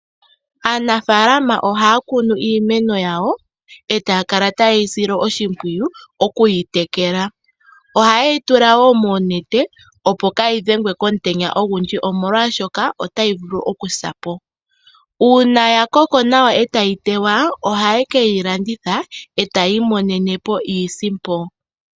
Aanafalama ohaya kunu iimeno yawo etaya kala taye yi sile oshimpwiyu okuyi tekela. Ohaye yi tulawo moonete opo kayi dhengwe komutenya ogundji omolwashoka otayi vulu oku sapo. Uuna ya koko nawa etayi tewa ohaye keyi landitha etaya imonene po iisimpo.